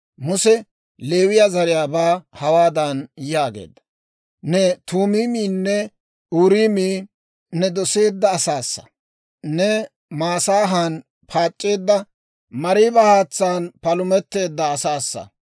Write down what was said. Muse Leewiyaa zariyaabaa hawaadan yaageedda; «Ne Tuumiimiyinne Uuriimii ne doseedda asassa. Neeni Masaahan paac'c'eedda, Mariiba haatsaan palumetteedda asassa.